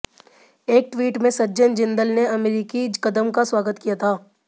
एक ट्वीट में सज्जन जिंदल ने अमेरिकी कदम का स्वागत किया था